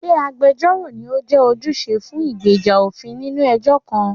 Ṣé agbẹjọ́rò ni ó jẹ́ ojúṣe fún ìgbèjà òfin nínú ẹjọ́ kan?